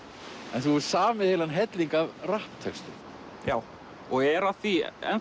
en þú hefur samið heilan helling af rapptextum já og er að því